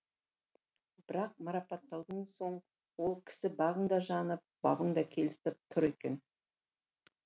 бірақ марапаттаудан соң ол кісі бағың да жанып бабың да келісіп тұр екен